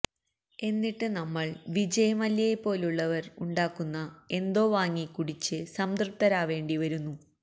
എന്നിട്ട് നമ്മള് വിജയ് മല്യയെ പോലുള്ളവര് ഉണ്ടാക്കുന്ന എന്തോ വാങ്ങി കുടിച്ച് സംതൃപ്തരാവേണ്ടി വരുന്നു